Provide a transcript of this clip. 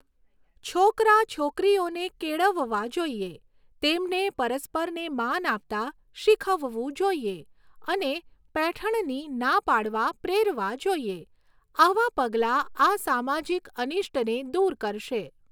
છોકરા છોકરીઓને કેળવવા જોઈએ, તેમને પરસ્પરને માન આપતાં શીખવવું જોઈએ અને પૈઠણની ના પાડવા પ્રેરવા જોઈએ. આવાં પગલાં આ સામાજિક અનિષ્ટને દૂર કરશે.